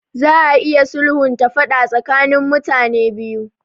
Za a iya sulhunta faɗa tsakanin mutane biyu.